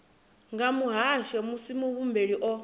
nga muhasho musi muhumbeli o